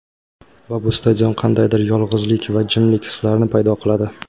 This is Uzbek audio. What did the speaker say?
Va bu stadion qandaydir yolg‘izlik va jimlik hislarini paydo qiladi.